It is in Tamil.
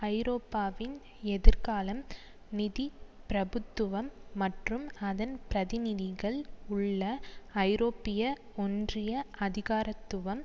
ஐரோப்பாவின் எதிர்காலம் நிதி பிரபுத்துவம் மற்றும் அதன் பிரதிநிதிகள் உள்ள ஐரோப்பிய ஒன்றிய அதிகாரத்துவம்